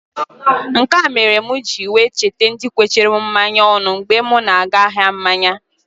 Nkea mere m ji wee cheta ndi kwechara m mmanya ọnụ mgbe m na-aga ahia mmanya.